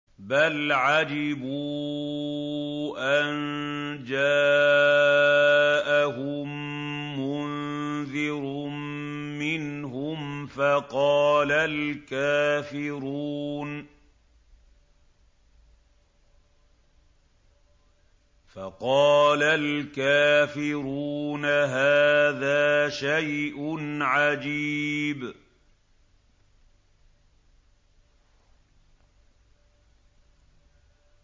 بَلْ عَجِبُوا أَن جَاءَهُم مُّنذِرٌ مِّنْهُمْ فَقَالَ الْكَافِرُونَ هَٰذَا شَيْءٌ عَجِيبٌ